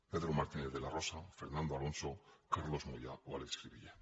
pedro martínez de la rosa fernando alonso carlos moyà o àlex crivillé